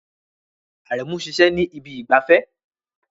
Aremu ń ṣiṣẹ́ ní ibi ìgbafẹ́